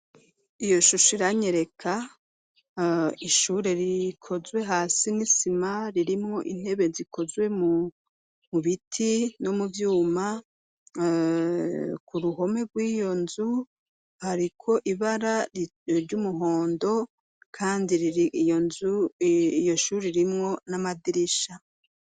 Iyo shusho iranyereka ishuri rikozwe hasi n'isima ririmwo intebe zikozwe mu mubiti no muvyuma ku ruhome rw'iyo nzu hariko ibara ry'umuhondo kandi iyo shuri irimwo n'amadirisha.